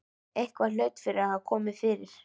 Eitthvað hlaut að hafa komið fyrir.